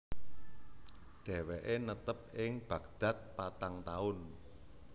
Dheweke netep ing Baghdad patang taun